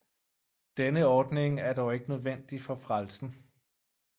Denne ordning er dog ikke nødvendig for frelsen